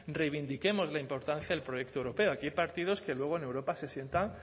reivindiquemos la importancia del proyecto europeo aquí hay partidos que luego en europa se sientan